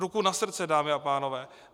Ruku na srdce, dámy a pánové.